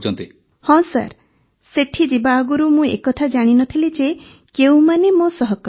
ଭାବନା ହଁ ସାର୍ ସେଠି ଯିବା ଆଗରୁ ମୁଁ ଏକଥା ଜାଣି ନ ଥିଲି ଯେ କେଉଁମାନେ ମୋ ସହକର୍ମୀ